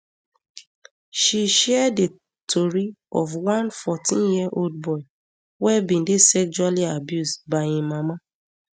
she share di tori of one fourteenyear old boy wey bin dey sexually abused by im mama